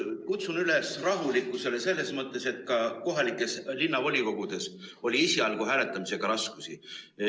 Kutsun üles rahulikkusele selles mõttes, et ka linnavolikogudes oli esialgu hääletamisega raskusi.